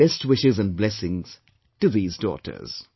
My best wishes and blessings to these daughters